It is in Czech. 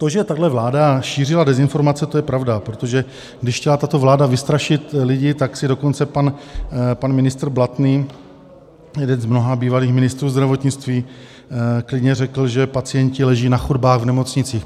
To, že tahle vláda šířila dezinformace, to je pravda, protože když chtěla tato vláda vystrašit lidi, tak si dokonce pan ministr Blatný, jeden z mnoha bývalých ministrů zdravotnictví, klidně řekl, že pacienti leží na chodbách v nemocnicích.